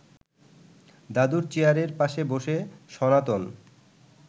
দাদুর চেয়ারের পাশে বসে সনাতন